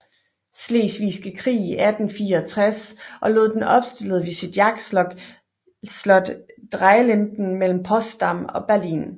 Slesvigske Krig i 1864 og lod den opstille ved sit jagtslot Dreilinden mellem Potsdam og Berlin